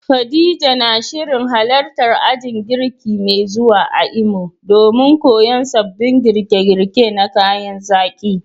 Khadija na shirin halartar ajin girki mai zuwa a Imo domin koyon sabbin girke-girke na kayan zaki.